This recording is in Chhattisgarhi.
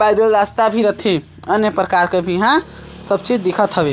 पैदल रास्ता भी रथे। अन्य प्रकार के भी यहाँ सब चीज दिखत हवे।